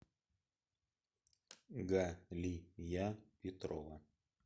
галия петрова